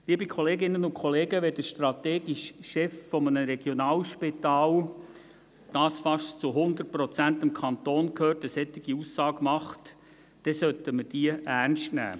Liebe Kolleginnen und Kollegen, wenn der strategische Chef eines Regionalspitals, das fast zu 100 Prozent dem Kanton gehört, eine solche Aussage macht, sollten wir diese ernst nehmen.